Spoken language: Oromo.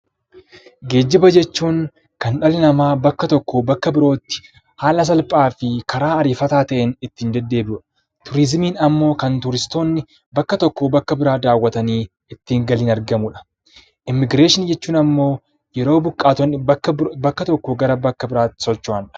Geejiba jechuun kan dhala namaa bakka tokkoo bakka birootti haala salphaa fi karaa ariifachiisaa ta'een ittiin deddeebi'udha. Turizimiin immoo turistoonni bakka tokkoo bakka biroo daawwatanii ittiin galiin argamudha. Immigireeshinii jechuun immoo yeroo buqqaatonni bakka tokkoo gara biraatti socho'anidha.